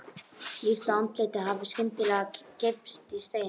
Líkt og andlitið hafi skyndilega greypst í stein.